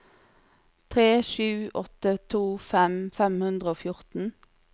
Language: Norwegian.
tre sju åtte to femten fem hundre og fjorten